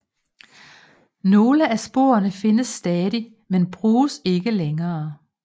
Nogle af sporene findes stadig men bruges ikke længere